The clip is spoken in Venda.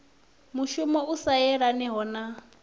mushumo u sa yelaniho na